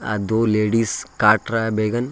आ दो लेडिस काट रहा है बैगन।